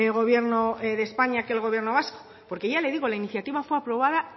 gobierno de españa que el gobierno vasco porque ya le digo la iniciativa fue aprobada